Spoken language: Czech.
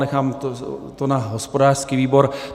Nechám to na hospodářský výbor.